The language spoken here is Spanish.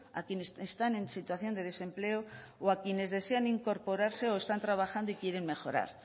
a quienes están en situación de desempleo o a quienes desean incorporarse o están trabajando y quieren mejorar